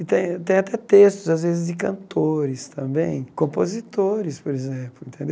E tem tem até textos, às vezes, de cantores também, compositores, por exemplo.